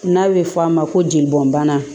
N'a bɛ fɔ a ma ko jeli bɔn bana